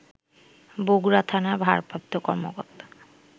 বগুড়া থানার ভারপ্রাপ্ত কর্মকর্তা